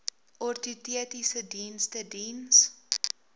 ortotiese dienste diens